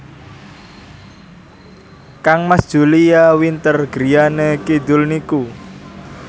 kangmas Julia Winter griyane kidul niku